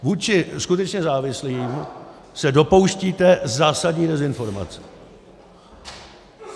Vůči skutečně závislým se dopouštíte zásadní dezinformace.